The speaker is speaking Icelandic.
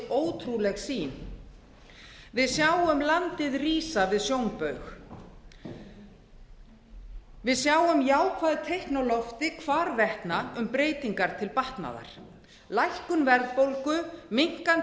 ótrúleg sýn við sjáum landið rísa við sjónbaug við sjáum jákvæð teikn á lofti hvarvetna um breytingar til batnaðar lækkun verðbólgu minnkandi